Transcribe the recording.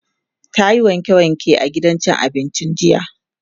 tayi wanke wanke a gidan cin abincin jiya.